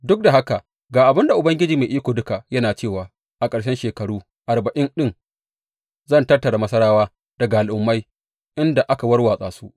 Duk da haka ga abin da Ubangiji Mai Iko Duka yana cewa a ƙarshen shekaru arba’in ɗin zan tattara Masarawa daga al’ummai inda aka warwatsa su.